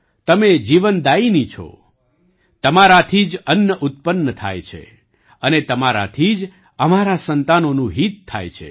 તમે જીવનદાયિની છો તમારાથી જ અન્ન ઉત્પન્ન થાય છે અને તમારાથી જ અમારાં સંતાનોનું હિત થાય છે